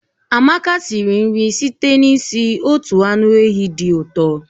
Amaka siri nri site n'isi otu anụ ehi dị ụtọ